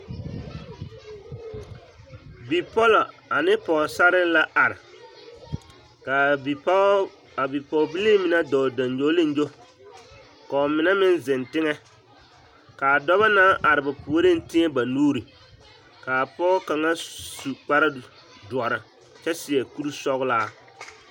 Bipɔlɔ ane Pɔgesarre la are k'a bipɔgebilii mine dɔɔ gyoŋgyoliŋgyo k'o mine meŋ zeŋ teŋɛ k'a dɔbɔ naŋ are ba puoriŋ tēɛ ba nuuri k'a Pɔgɔ kaŋa su kpare doɔre kyɛ seɛ kuri sɔgelaa.